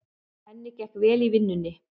Henni gekk vel í vinnunni.